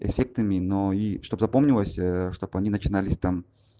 дефектами но и чтоб запомнились чтобы они начинались там